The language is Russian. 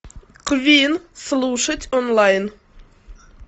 квин слушать онлайн